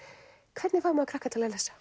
hvernig fær maður krakka til að lesa